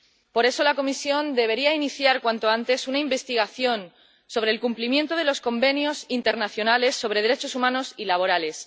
Por eso, la Comisión debería iniciar cuanto antes una investigación sobre el cumplimiento de los convenios internacionales sobre derechos humanos y laborales.